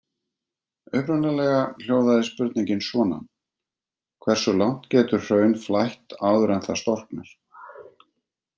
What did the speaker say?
Upprunalega hljóðaði spurningin svona: Hversu langt getur hraun flætt áður en það storknar?